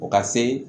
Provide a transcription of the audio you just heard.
O ka se